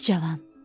Ey cavan!